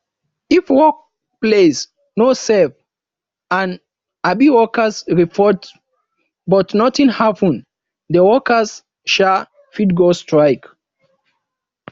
if workplace no safe and um workers report but nothing happen the workers um fit go strike